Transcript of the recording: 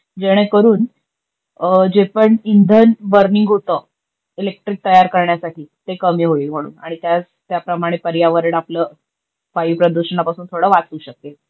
जेणे करून जे पण इंधन बर्निंग होत इलेक्ट्रिक तयार करण्यासाठी ते कमी होईल म्हणून आणि त्याप्रमाणे पर्यावरण आपल वायू प्रदूषणापासून ठोड वाचू शकेल.